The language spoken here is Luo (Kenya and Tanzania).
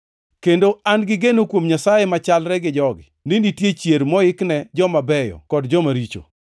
kendo an-gi geno kuom Nyasaye machalre gi jogi, ni nitie chier moikne joma beyo kod joma richo.